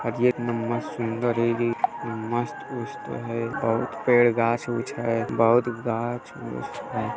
सुंदर होइगी मस्त-उस्त है बहुत पेड़ गाछ-उछ है बहुत गाछ-उछ है।